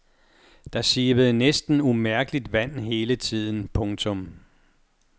Der sivede næsten umærkeligt vand hele tiden. punktum